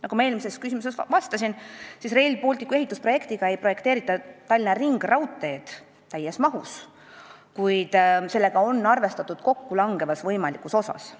" Nagu ma eelmisele küsimusele vastates ütlesin, Rail Balticu ehitusprojektiga ei kavandata Tallinna ringraudteed täies mahus, kuid sellega on arvestatud võimalikus kokkulangevas osas.